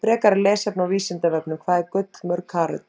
Frekara lesefni á Vísindavefnum: Hvað er gull mörg karöt?